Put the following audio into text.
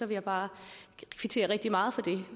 jeg bare kvittere rigtig meget for det